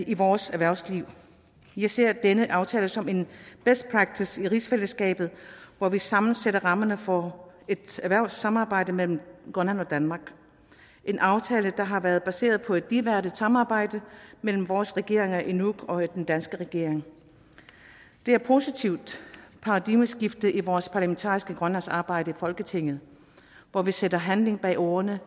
i vores erhvervsliv jeg ser denne aftale som en best practice i rigsfællesskabet hvor vi sammen sætter rammerne for et erhvervssamarbejde mellem grønland og danmark en aftale der har været baseret på et ligeværdigt samarbejde mellem vores regering i nuuk og den danske regering det er et positivt paradigmeskift i vores parlamentariske grønlandsarbejde i folketinget hvor vi sætter handling bag ordene